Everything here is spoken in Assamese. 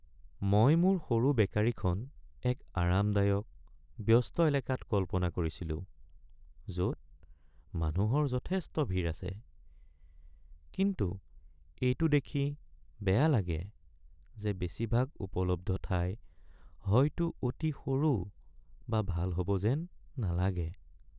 মই মোৰ সৰু বেকাৰীখন এক আৰামদায়ক, ব্যস্ত এলেকাত কল্পনা কৰিছিলো য'ত মানুহৰ যথেষ্ট ভিৰ আছে, কিন্তু এইটো দেখি বেয়া লাগে যে বেছিভাগ উপলব্ধ ঠাই হয়তো অতি সৰু বা ভাল হ'ব যেন নালাগে।